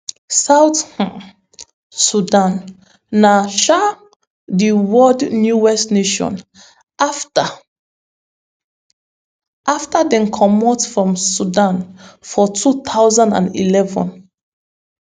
south um sudan na um di world newest nation afta afta dem comot from sudan for two thousand and eleven